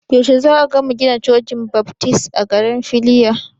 Yaushe za'a gama gina Cocin Baftis a garin Filiya?